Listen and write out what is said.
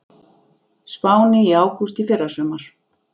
Spáni í ágúst í fyrrasumar.